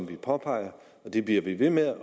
det påpeger vi det bliver vi ved med